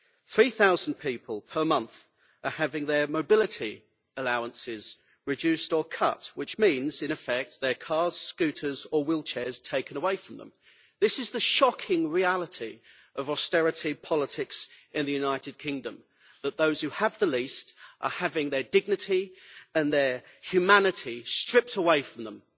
Three thousand people per month are having their mobility allowances reduced or cut, which means, in effect, their cars, scooters or wheelchairs taken away from them. This is the shocking reality of austerity politics in the United Kingdom that those who have the least are having their dignity and their humanity stripped away from them.